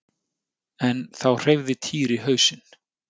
En þá hreyfði Týri hausinn.